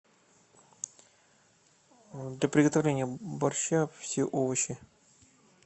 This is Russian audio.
для приготовления борща все овощи